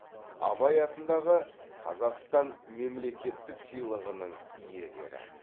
абай атындағы қазақстан мемлекеттік сыйлығының иегері